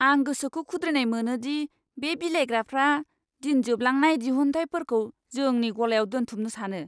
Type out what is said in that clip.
आं गोसोखौ खुद्रिनाय मोनो दि बे बिलाइग्राफ्रा दिन जोबलांनाय दिहुनथायफोरखौ जोंनि गलायाव दोनथुमनो सानो!